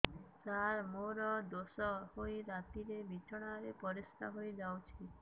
ସାର ମୋର ଦୋଷ ହୋଇ ରାତିରେ ବିଛଣାରେ ପରିସ୍ରା ହୋଇ ଯାଉଛି